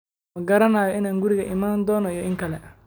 Ma garanayo inaan gurigaaga iman doono iyo in kale.